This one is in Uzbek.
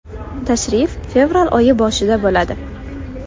Tashrif fevral oyi boshida bo‘ladi.